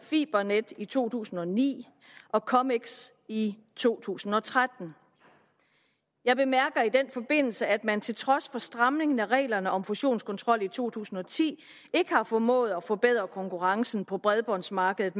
fibernet i to tusind og ni og comics i to tusind og tretten jeg bemærker i den forbindelse at man til trods for stramningen af reglerne om fusionskontrol i to tusind og ti ikke har formået at forbedre konkurrencen på bredbåndsmarkedet